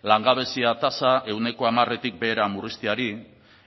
langabezia tasa ehuneko hamaretik behera murrizteari